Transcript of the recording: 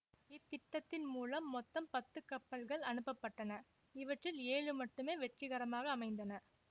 இத்திட்டத்தின் மூலம் மொத்தம் பத்து கப்பல்கள் அனுப்ப பட்டன இவற்றில் ஏழு மட்டுமே வெற்றிகரமாக அமைந்தன